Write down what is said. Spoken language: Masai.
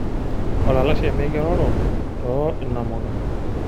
Olalashe mikiroro to inamuka.